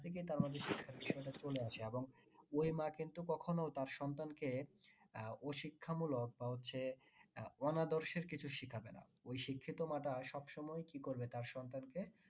নিজে থেকেই তার মধ্যে শিক্ষার বিষয়টা চলে আসে এবং ওই মা কিন্তু কখনো তার সন্তানকে আহ ওই শিক্ষা মূলক বা হচ্ছে অনাদর্শের কিছু শেখাবে না ওই শিক্ষিত মা টা সবসময় কি করবে তার সন্তানকে